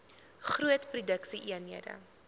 groot produksie eenhede